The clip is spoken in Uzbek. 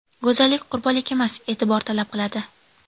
Go‘zallik qurbonlik emas, e’tibor talab qiladi.